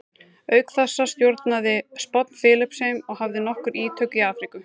Auk þessa stjórnaði Spánn Filippseyjum og hafði nokkur ítök í Afríku.